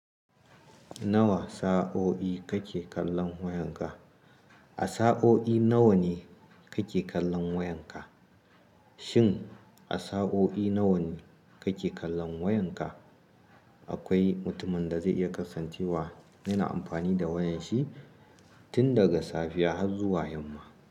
Nawa sa'o'i kake kallon wayanka? A sa'o'i nawa ne kake kallon wayanka? Shin a sa'o'i nawa ne kake kallon wayanka? Akwai mutumin da zai iya kasancewa yana amfani da wayanshi tun daga safiya har zuwa yamma.